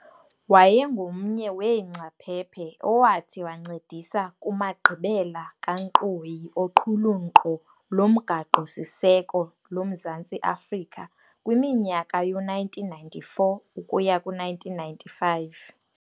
Wayengomnye weengcaphephe owathi wancedisa kumagqibela kankqoyi oqhulunkqo lomgaqo-siseko loMzantsi Afrika kwiminyaka yoo1994-1995.